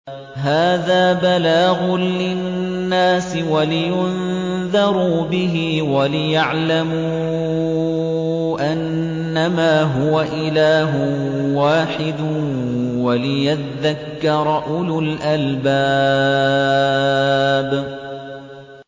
هَٰذَا بَلَاغٌ لِّلنَّاسِ وَلِيُنذَرُوا بِهِ وَلِيَعْلَمُوا أَنَّمَا هُوَ إِلَٰهٌ وَاحِدٌ وَلِيَذَّكَّرَ أُولُو الْأَلْبَابِ